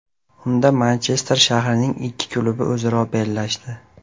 Unda Manchester shahrining ikki klubi o‘zaro bellashdi.